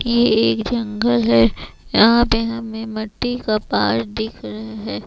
ये एक जंगल है यहां पे हमें मट्टी का पहाड़ दिख रहे--